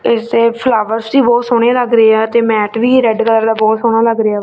ਇਸ ਦੇ ਫਲਾਵਰਸ ਵੀ ਬਹੁਤ ਸੋਹਣੇ ਲੱਗ ਰਹੇ ਆ ਤੇ ਮੈਟ ਵੀ ਰੈਡ ਕਲਰ ਦਾ ਬਹੁਤ ਸੋਹਣਾ ਲੱਗ ਰਿਹਾ।